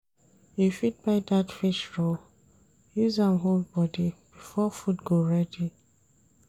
You fit buy dat fish roll, use am hold bodi before food go ready.